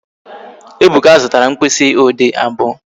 Ebuka zụtara mkpịsị ode abụọ